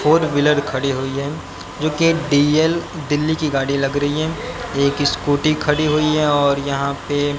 four wheeler खड़ी हुई है जो कि डी_एल दिल्ली की गाड़ी लग रही हैं एक स्कूटी खड़ी हुई है और यहां पे--